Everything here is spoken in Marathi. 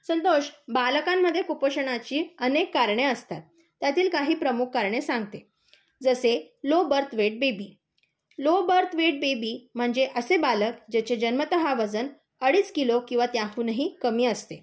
संतोष, बालकांमध्ये कुपोषणाची अनेक कारणे असतात. त्यातील काही प्रमुख कारणे सांगते. जसे low birth weight baby low birth weight baby म्हणजे असे बालक ज्याचे जन्मतः वजन अडीज किलो किंवा त्याहूनही कमी असते.